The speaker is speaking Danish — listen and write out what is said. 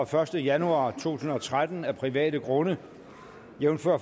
første januar to tusind og tretten af private grunde jævnfør